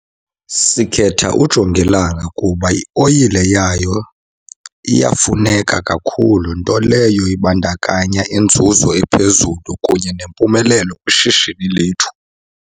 Sikhetha ujongilanga kuba ioyile yayo iyafuneka kakhulu, nto leyo ibandakanya inzuzo ephezulu kunye nempumelelo kwishishini lethu.